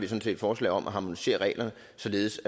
set et forslag om at harmonisere reglerne således